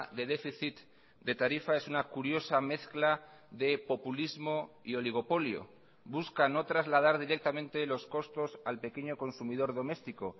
de déficit de tarifa es una curiosa mezcla de populismo y oligopolio buscan no trasladar directamente los costos al pequeño consumidor doméstico